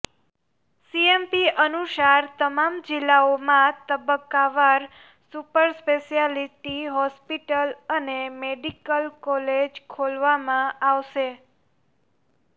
CMP અનુસાર તમામ જિલ્લાઓમાં તબક્કાવાર સુપર સ્પેશિયાલિટી હોસ્પિટલ અને મેડિકલ કોલેજ ખોલવામાં આવશે